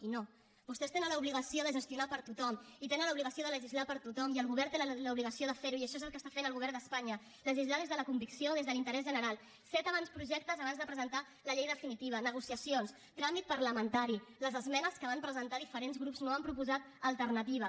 i no vostès tenen l’obligació de gestionar per a tothom i tenen l’obligació de legislar per a tothom i el govern té l’obligació de fer ho i això és el que està fent el govern d’espanya legislar des de la convicció des de l’interès general set avantprojectes abans de presentar la llei definitiva negociacions tràmit parlamentari les esmenes que van presentar diferents grups no han proposat alternativa